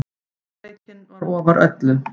Heiðarleikinn var ofar öllu.